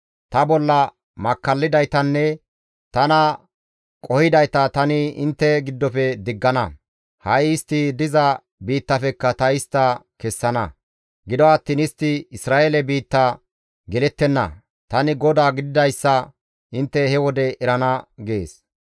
Ta bolla makkallidaytanne tana qohidayta tani intte giddofe diggana; ha7i istti diza biittafekka ta istta kessana; gido attiin istti Isra7eele biitta gelettenna. Tani GODAA gididayssa intte he wode erana» gees.